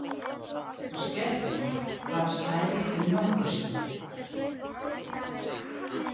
Og skellurinn varð stærri en nokkru sinni.